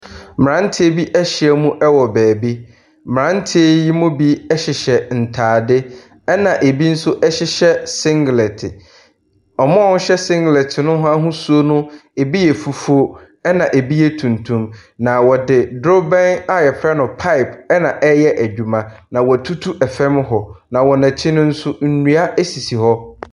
Mmeranteɛ bi ahyia mu wɔ baabi. Mmeranteɛ yi mu bi hyehyɛ ntadeɛ, ɛna ɛbi nso hyehyɛ singelɛte. Wɔn a wɔhyɛ sigelɛte no ahosuo no, ɛbu yɛ fufuo, ɛna ɛbi yɛ tuntum, na wɔde dorobɛn a wɔfrɛ no pipe ɛna wɔde reyɛ adwuma, na wɔatutu fam hɔ, na wɔn akyi no nso nnua sisi hɔ.